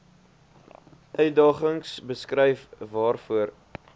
uitdagings beskryf waarvoor